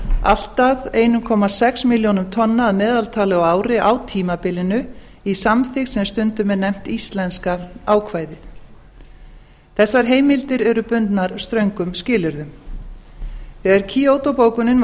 allt að einn komma sex milljónum tonna að meðaltali á ári á tímabilinu í samþykkt sem stundum er nefnt íslenska ákvæðið þessar heimildir eru bundnar ströngum skilyrðum þegar kyoto bókunin var